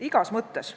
Igas mõttes.